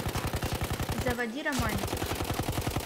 заводи романтику